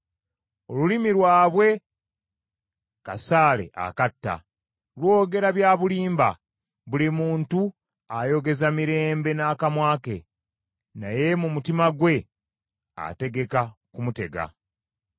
Olulimi lwabwe kasaale akatta, lwogera bya bulimba, buli muntu ayogeza mirembe n’akamwa ke, naye mu mutima gwe ategeka kumutega.